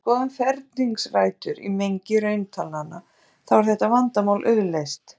Þegar við skoðum ferningsrætur í mengi rauntalnanna þá er þetta vandamál auðleyst.